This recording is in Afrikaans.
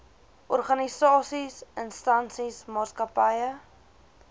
organisasies instansies maatskappye